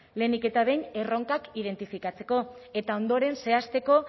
lehenik eta behin erronkak identifikatzeko eta ondoren zehazteko